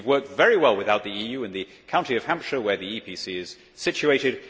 We have worked very well without the EU in the county of Hampshire, where the EPC is situated.